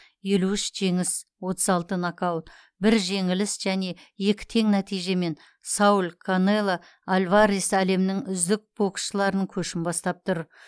елу үш жеңіс отыз алты нокаут бір жеңіліс және екі тең нәтижемен сауль канело альварес әлемнің үздік боксшыларының көшін бастап тұр